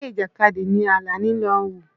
Eré Ìjàkadì ni Àlàní lọ wò.